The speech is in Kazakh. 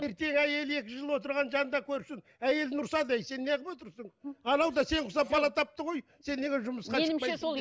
еркек әйелі екі жыл отырған жанында көрсін әйеліне ұрсады ей сен неғып отырсың анау да сен құсап бала тапты ғой сен неге жұмысқа